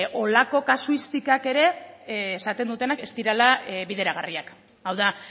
holako kasuistikak ere esaten dutenak ez direla bideragarriak hau da